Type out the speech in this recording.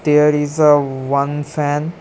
There is a one fan.